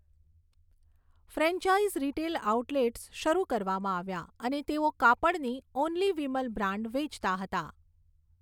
Franchise retail outlets શરૂ કરવામાં આવ્યા અને તેઓ કાપડની 'ઓનલી વિમલ' બ્રાન્ડ વેચતા હતા.